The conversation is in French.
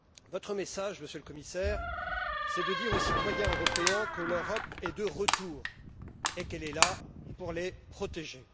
Votre message, Monsieur le Commissaire, c'est de dire aux citoyens européens que l'Europe est de retour et qu'elle est là pour les protéger.